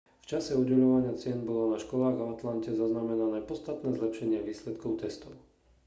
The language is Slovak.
v čase udeľovania cien bolo na školách v atlante zaznamenané podstatné zlepšenie výsledkov testov